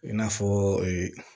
I n'a fɔ